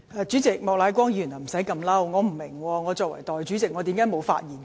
主席，莫乃光議員不用如此動氣，我不明白為何我作為代理主席便沒有發言權。